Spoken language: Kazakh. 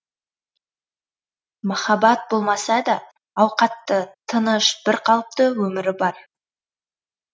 махаббат болмаса да ауқатты тыныш бірқалыпты өмірі бар